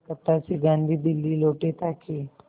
कलकत्ता से गांधी दिल्ली लौटे ताकि